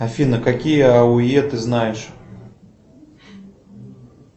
афина какие ауе ты знаешь